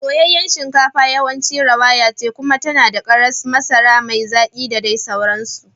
Soyayyen shinkafa yawanci rawaya ce kuma tana da karas, masara mai zaki da dai sauransu.